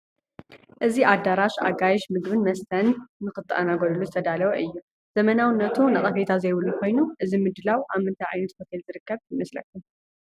እዚ ኣዳራሽ ኣጋይሽ ምንግብን መስተን ንኽእንገድሉ ዝተዳለወ እዩ፡፡ ዘመናዊነቱ ነቐፌታ ዘይብሉ ኮይኑ እዚ ምድላው ኣብ ምንታይ ዓይነታት ሆቴል ዝርከብ ይመስለኩም?